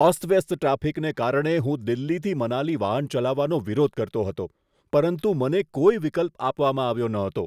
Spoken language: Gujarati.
અસ્તવ્યસ્ત ટ્રાફિકને કારણે હું દિલ્હીથી મનાલી વાહન ચલાવવાનો વિરોધ કરતો હતો, પરંતુ મને કોઈ વિકલ્પ આપવામાં આવ્યો ન હતો.